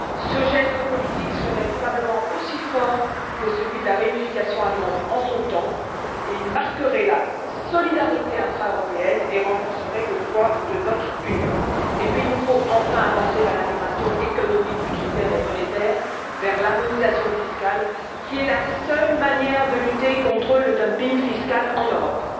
Ce geste politique serait probablement aussi fort que celui de la réunification allemande en son temps, et il marquerait la solidarité intra européenne et renforcerait le poids de notre Union. Enfin, il nous faut avancer vers l'intégration économique, budgétaire et monétaire, vers l'harmonisation fiscale qui est la seule manière de lutter contre le dumping fiscal en Europe.